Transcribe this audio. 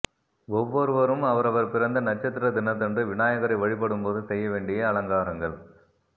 ஒவ்வொருவரும் அவரவர் பிறந்த நட்சத்திர தினத்தன்று விநாயகரை வழிபடும் போது செய்ய வேண்டிய அலங்காரங்கள்